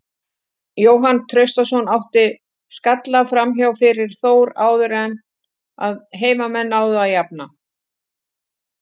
Jóhann Traustason átti skalla framhjá fyrir Þór áður en að heimamenn náðu að jafna.